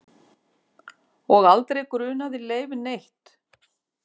Og aldrei grunaði Leif neitt.